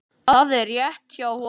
Það er rétt hjá honum.